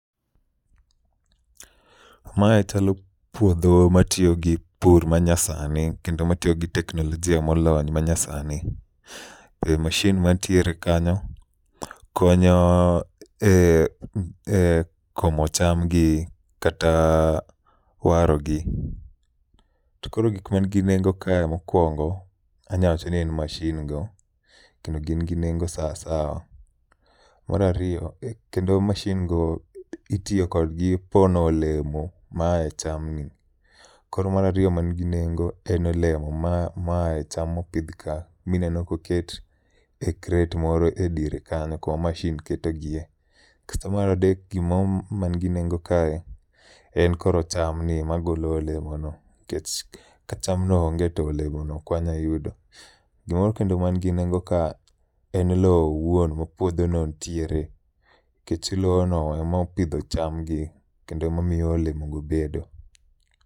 Mae chalo puodho ma tiyo gi pur ma nyasani kendo matiyo gi teknolojia molony ma nyasani. Be mashin mantiere kanyo konyo e komo cham gi kata waro gi. To koro gik man gi nengo ka mokwongo anyawacho ni en mashin go kendo gin gi nengo sa sawa. Marariyo, kendo mashin go itiyo kodgi pono olemo mae cham ni. Koro marariyo man gi nengo en olemo ma ma ae cham mopidh ka mineno koket e kret moro e diere kanyo, koma mashin ketogi e. Kasto maradek gimoro man gi nengo kae en koro cham ni magolo olemo no. Kech ka chamno onge to olemono ok wanya yudo. Gimoro kendo man gi nengo ka en lo owuon ma puodho no nitiere. Kech lo no emopidho cham gi kendo emamiyo olemo go bedo.